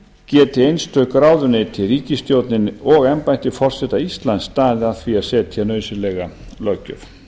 geti einstök ráðuneyti ríkisstjórnin og embætti forseta íslands staðið að því að setja nauðsynlega löggjöf